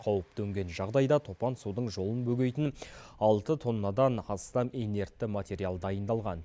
қауіп төнген жағдайда топан судың жолын бөгейтін алты тоннадан астам инертті материал дайындалған